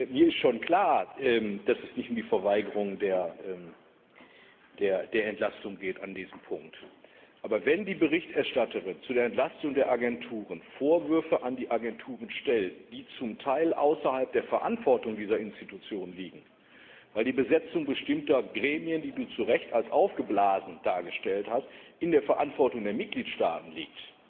Mir ist schon klar, dass es an diesem Punkt nicht um die Verweigerung der Entlastung geht. Aber wenn die Berichterstatterin zu der Entlastung der Agenturen Vorwürfe gegen die Agenturen erhebt, die zum Teil außerhalb der Verantwortung dieser Einrichtungen liegen, weil die Besetzung bestimmter Gremien, die du zu Recht als aufgeblasen dargestellt hast, in der Verantwortung der Mitgliedstaaten liegt,